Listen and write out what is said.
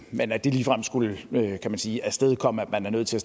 men at det ligefrem skulle kan man sige afstedkomme at man er nødt til